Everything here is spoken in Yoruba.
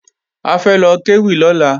A fẹ́ lọ kéwì lọ́la